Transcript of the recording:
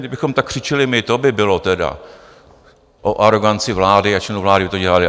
Kdybychom tak křičeli my, to by bylo tedy o aroganci vlády a členů vlády, kdyby to dělali!